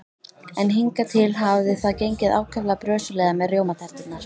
En hingað til hafði það gengið ákaflega brösulega með rjómaterturnar.